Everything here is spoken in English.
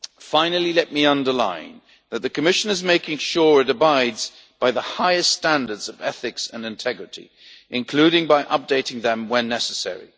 Finally, let me stress that the Commission is making sure it abides by the highest standards of ethics and integrity, including by updating them when necessary.